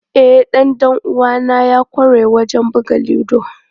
E, dan dan uwana ya kware wajen buga ludo.